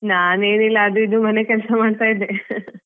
ನಾನೇನಿಲ್ಲ ಅದು ಇದು ಮನೆ ಕೆಲ್ಸ ಮಾಡ್ತಾ ಇದ್ದೆ.